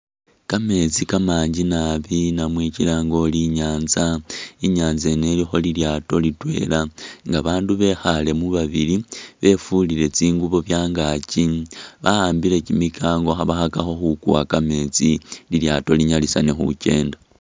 Kameetsi kamangi naabi oba kilange uri inyanza, inyanza yino ilikho lilyaato litwela nga bandu bekhalemu babili befulile tsingubo byangakyi bahambile kimikango khbakhakakho khukuwa kameetsi lilyaato linyalisane khukyenda.